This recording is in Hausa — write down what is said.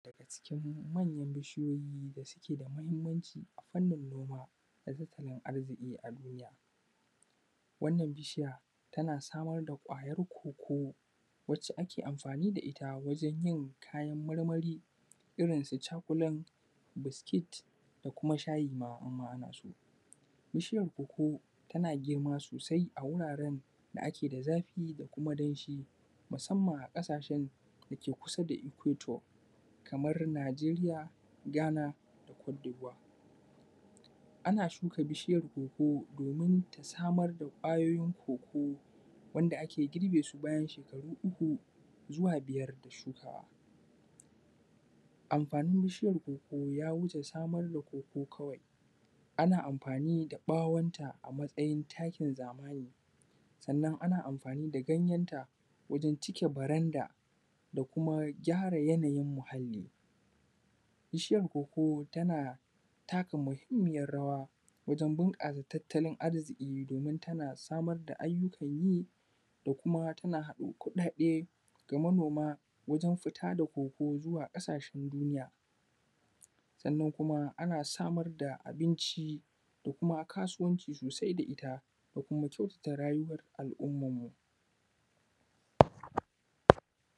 daga cikin manyan bishiyoyi da suke da muhimmanci a fannin noma da tattalin arziƙi a duniya wannan bishiya tana samar da ƙwayar cocoa wacce ake amfani da ita wajen yin kayan marmari irin su chocolate biscuits da kuma shayi ma in ma ana so bishiyar cocoa tana girma sosai a wuraren da ake da zafi da kuma danshi musamman a ƙasashen da ke kusa da equator kamar nigeria ghana da cote d’voire ana shuka bishiyar cocoa domin ta samar da ƙwayoyin cocoa wanda ake girbe su bayan shekaru uku zuwa biyar da shukawa amfanin bishiyar cocoa ya wuce samar da cocoa kawai ana amfani da ɓawonta a matsayin takin zamani sannan ana amfani da ganyenta wajen ʧike baranda da kuma gyara yanayin muhalli bishiyar cocoa tana taka muhimmiyar rawa wajen bunƙasa tattalin arziki domin tana samar da ayyukan yi da kuma tana haɗo kuɗaɗe ga manoma wajen fita da cocoa zuwa ƙasashen duniya sannan kuma ana samar da abinci da kuma kasuwanci sosai da ita da kuma kyautata rayuwar al’ummarmu